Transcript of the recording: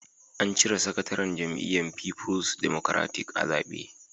An cire sakataren jam'iyyar Fifuls Democratic (PDP) a zabe.